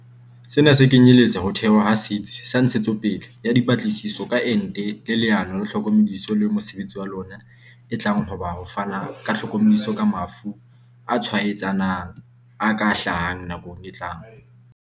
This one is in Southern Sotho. Sena se kenyeletsa ho thehwa ha Setsi sa Ntshe tsopele ya Dipatlisiso ka Ente le Leano la Tlhokomediso leo mosebetsi wa lona e tlang ho ba ho fana ka tlhokomediso ka mafu a tshwaetsanang a ka hlahang nakong e tlang.